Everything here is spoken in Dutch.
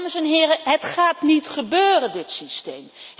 Dames en heren, het gaat niet gebeuren, dit systeem.